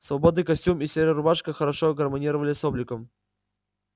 свободный костюм и серая рубашка хорошо гармонировали с обликом